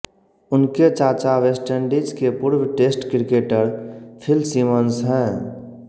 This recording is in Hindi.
उनके चाचा वेस्टइंडीज के पूर्व टेस्ट क्रिकेटर फिल सिमंस हैं